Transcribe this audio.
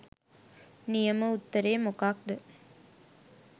නියම උත්තරේ මොකක්ද?